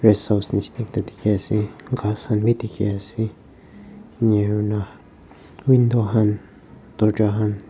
Rest house neshina skat dekhe ase ghas khan bhi dekhe ase window khan dworja khan--